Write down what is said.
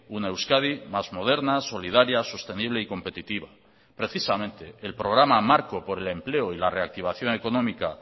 una euskadi más moderna solidaria sostenible y competitiva precisamente el programa marco por el empleo y la reactivación económica